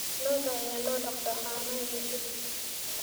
Lo'da ayaa loo dhaqdaa caano iyo hilib.